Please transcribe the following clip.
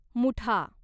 Mutha